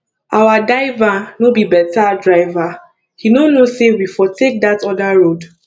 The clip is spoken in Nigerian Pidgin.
our diver no be beta driver he no know say we for take dat other road